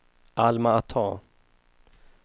Alma-Ata